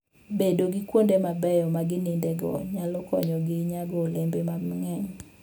Bedo gi kuonde mabeyo ma ginindego nyalo konyogi nyago olembe mang'eny.